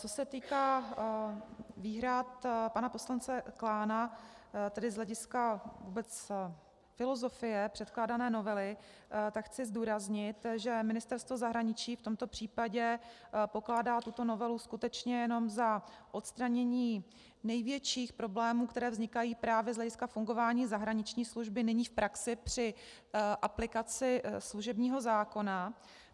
Co se týká výhrad pana poslance Klána, tedy z hlediska vůbec filozofie předkládané novely, tak chci zdůraznit, že Ministerstvo zahraničí v tomto případě pokládá tuto novelu skutečně jenom za odstranění největších problémů, které vznikají právě z hlediska fungování zahraniční služby nyní v praxi při aplikaci služebního zákona.